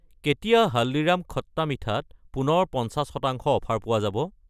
কেতিয়া হালদিৰাম খট্টা মিঠা -ত পুনৰ 50 % অফাৰ পোৱা যাব?